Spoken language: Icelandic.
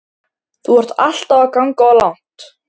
Þú þarft alltaf að ganga of langt!